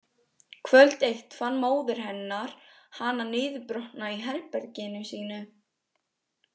Kvöld eitt fann móðir hennar hana niðurbrotna í herberginu sínu.